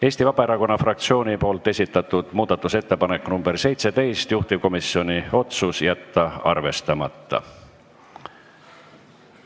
Eesti Vabaerakonna fraktsioon on esitanud muudatusettepaneku nr 17, juhtivkomisjon otsus: jätta arvestamata.